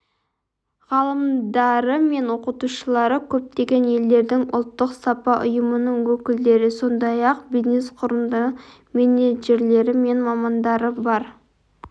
ғалымдары мен оқытушылары көптеген елдердің ұлттық сапа ұйымының өкілдері сондай-ақ бизнес-құрылымдардың менеджерлері мен мамандары бар